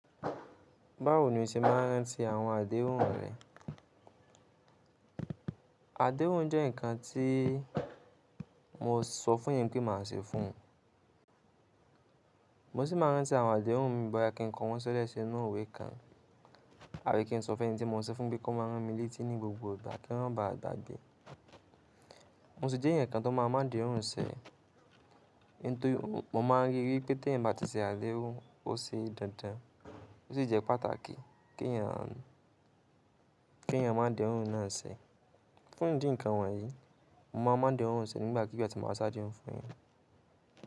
Báwo ni o ṣe máa ń rántí àwọn àdéhùn rẹ? Àdéhùn jẹ́ ǹkan tí mo sọ fún ẹeyan pé màá ṣe fún ẹ. Mo sì máa ń rántí àwọn àdéhùn mi bóyá kí ǹko wọn ṣilẹ̀ sí inú ìwé kan àbí kí n sọ fún ẹni tí mo sọ fún pé kó máa rántí mi létí ní gbogbo ìgbà kí ma ba à gbagbe. Mo sì jẹ́ ǹkan tó máa máadehun ǹṣe, nítorí mo máa ń rí wípé tí ẹ̀yin bá ti ṣe àdéhùn ó ṣe dandan, ó sì jẹ́ pàtàkì kí ẹ̀yin à má dahún ǹaṣe. Fún ìdí ǹkan wọ̀nyí, mo máa má dehún ṣe nígbàkigbà tí mo bá ṣáá dehun fún yan.